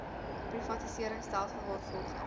privatisering stelsel waarvolgens